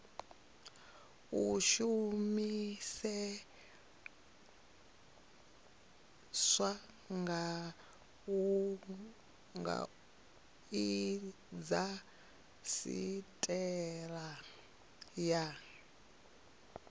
a shumiseswa kha indasiteri ya